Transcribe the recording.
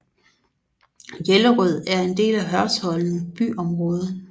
Jellerød er en del af Hørsholm byområde